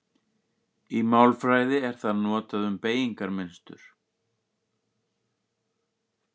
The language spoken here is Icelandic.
Í málfræði er það notað um beygingarmynstur.